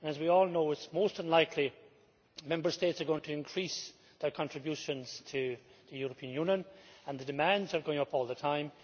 As we all know, it is most unlikely that Member States are going to increase their contributions to the European Union, and the demands are going up all the time.